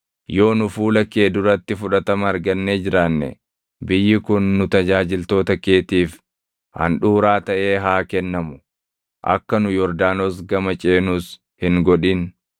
Yoo nu fuula kee duratti fudhatama argannee jiraanne biyyi kun nu tajaajiltoota keetiif handhuuraa taʼee haa kennamu. Akka nu Yordaanos gama ceenus hin godhin.”